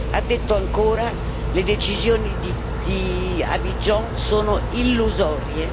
Ha detto ancora le decisioni di Abidjan sono illusorie.